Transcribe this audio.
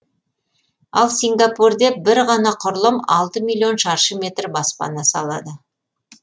ал сингапурде бір ғана құрылым алты миллион шаршы метр баспана салады